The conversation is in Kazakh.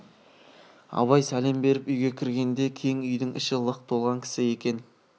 абай сәлем беріп үйге кіргенде кең үйдің іші лық толған кісі екен